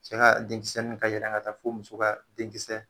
Cɛ ka denkisɛ nin be yɛlɛ ka taa fo muso ka denkisɛ